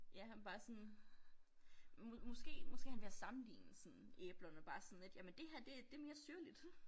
Ja han bare sådan måske måske han ved at sammenligne sådan æblerne bare sådan lidt jamen det her det det mere syrligt